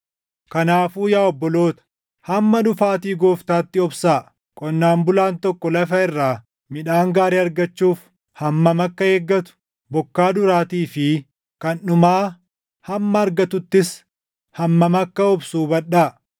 Kanaafuu yaa obboloota, hamma dhufaatii Gooftaatti obsaa. Qonnaan bulaan tokko lafa irraa midhaan gaarii argachuuf hammam akka eeggatu, bokkaa duraatii fi kan dhumaa hamma argattuttis hammam akka obsu hubadhaa.